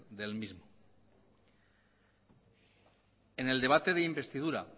del mismo en el debate de investidura